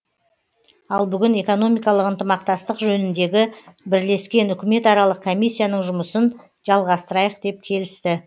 ал бүгін экономикалық ынтымақтастық жөніндегі бірлескен үкіметаралық комиссияның жұмысын жалғастырайық деп келісті